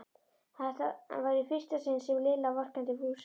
Þetta var í fyrsta sinn sem Lilla vorkenndi Fúsa.